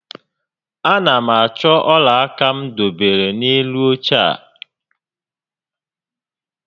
A na m achọ ọla aka m dobere n'elu óche a